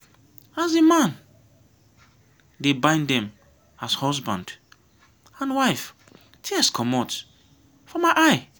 as the the man dey bind dem as husband and wife tears comot for my eye.